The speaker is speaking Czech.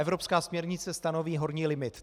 Evropská směrnice stanoví horní limit.